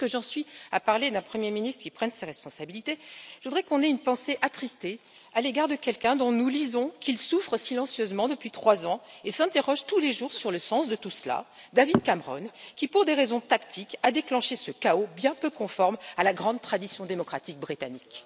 Et puisque j'en suis à parler d'un premier ministre qui prenne ses responsabilités, je voudrais qu'on ait une pensée attristée à l'égard de quelqu'un dont nous lisons qu'il souffre silencieusement depuis trois ans et s'interroge tous les jours sur le sens de tout cela, David Cameron, qui, pour des raisons tactiques, a déclenché ce chaos bien peu conforme à la grande tradition démocratique britannique.